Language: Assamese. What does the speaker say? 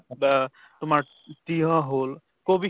বা তোমাৰ তয়হ হʼল কবি